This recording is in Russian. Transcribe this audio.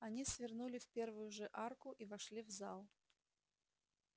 они свернули в первую же арку и вошли в зал